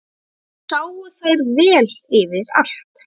Þar sáu þær vel yfir allt.